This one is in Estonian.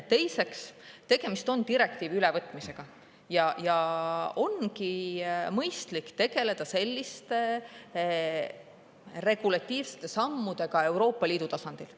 Teiseks, tegemist on direktiivi ülevõtmisega ja ongi mõistlik tegeleda selliste regulatiivsete sammudega Euroopa Liidu tasandil.